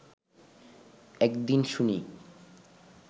এক দিন শুনি